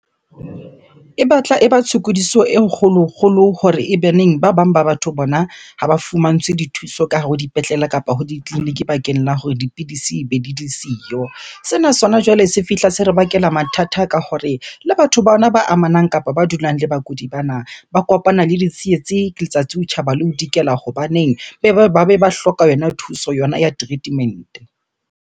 E batla e ba tshokodiso e kgolo-kgolo hore ebeneng ba bang ba batho bona ha ba fumantshwe dithuso ka hare ho dipetlele kapa ho ditleliniki bakeng la hore dipidisi ebe di di siyo. Sena sona jwale se fihla se re bakela mathata ka hore le batho bona ba amanang kapa ba dulang le bakudi bana. Ba kopana le ditsietsi letsatsi ho tjhaba le ho dikela hobaneng ba be ba hloka yona thuso yona ya treatment-e.